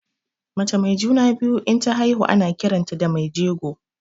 Mace mai juna-biyu inta haihu ana kiranta da mai jego.